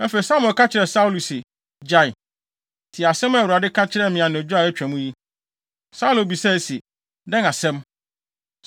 Afei, Samuel ka kyerɛɛ Saulo se, “Gyae! Tie asɛm a Awurade ka kyerɛɛ me anadwo a atwa mu yi.” Saulo bisaa se, “Dɛn asɛm?”